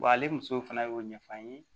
Wa ale muso fana y'o ɲɛfɔ an ye